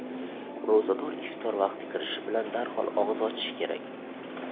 Ro‘zador iftor vaqti kirishi bilan darhol og‘iz ochishi kerak.